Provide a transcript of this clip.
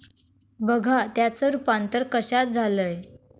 बघा त्याचं रुपांतर कश्यात झालंय.